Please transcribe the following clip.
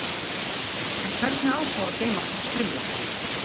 En hvernig á þá að geyma svona strimla?